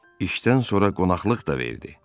İşdən sonra qonaqlıq da verdi.